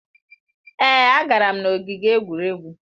Èé, agara m n'ogige egwuregwu.